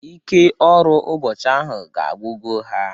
Ike ọrụ ụbọchị ahụ ga-agwugo ha.